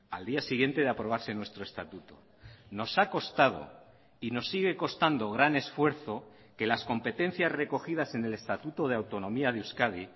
al día siguiente de aprobarse nuestro estatuto nos ha costado y nos sigue costando gran esfuerzo que las competencias recogidas en el estatuto de autonomía de euskadi